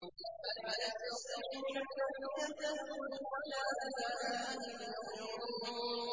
فَلَا يَسْتَطِيعُونَ تَوْصِيَةً وَلَا إِلَىٰ أَهْلِهِمْ يَرْجِعُونَ